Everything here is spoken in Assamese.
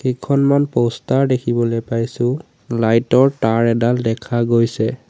কেইখনমান প'ষ্টাৰ দেখিবলৈ পাইছোঁ লাইটৰ তাঁৰ এডাল দেখা গৈছে।